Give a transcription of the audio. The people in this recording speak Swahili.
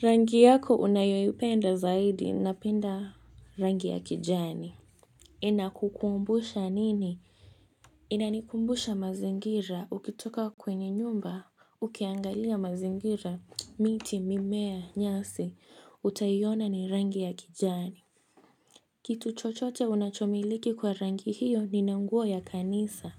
Rangi yako unayoipenda zaidi, napenda rangi ya kijani. Inakukumbusha nini? Inanikumbusha mazingira, ukitoka kwenye nyumba, ukiangalia mazingira. Miti, mimea, nyasi, utaiiona ni rangi ya kijani. Kitu chochote unachomiliki kwa rangi hiyo ni naunguo ya kanisa,